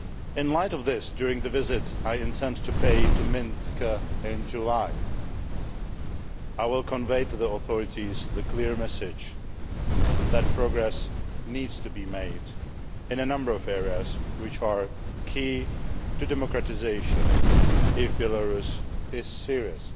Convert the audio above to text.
In the light of this, during the visit I intend to pay to Minsk in July, I will convey to the authorities the clear message that progress needs to be made in a number of areas which are key to democratisation if Belarus is serious